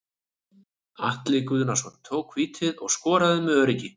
Atli Guðnason tók vítið og skoraði með öruggi.